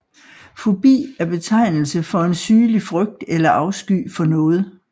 Fobi er betegnelse for en sygelig frygt eller afsky for noget